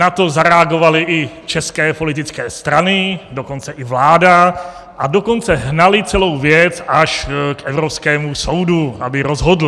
Na to zareagovaly i české politické strany, dokonce i vláda, a dokonce hnaly celou věc až k Evropskému soudu, aby rozhodl.